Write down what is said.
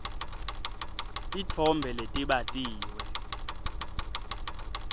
titfombe letibatiwe